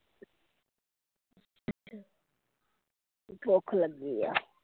ਭੁੱਖ ਲੱਗੀ ਆ